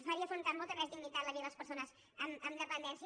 faria afrontar amb molta més dignitat la vida de les persones amb dependència